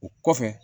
O kɔfɛ